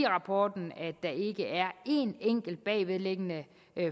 rapporten at der ikke er en enkelt bagvedliggende